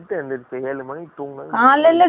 காலைல tiffin நு